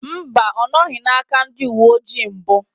Mba, ọ nọghị n'aka ndị uwe ojii mbụ